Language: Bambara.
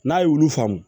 N'a ye olu faamu